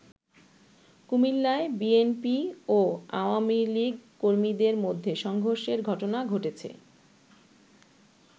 কুমিল্লায় বিএনপি ও আওয়ামী লীগ কর্মীদের মধ্যে সংঘর্ষের ঘটনা ঘটেছে।